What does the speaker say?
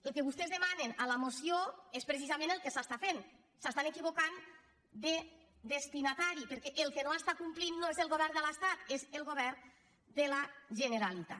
el que vostès demanen a la moció és precisament el que s’està fent s’estan equivocant de destinatari perquè el que no està complint no és el govern de l’estat és el govern de la generalitat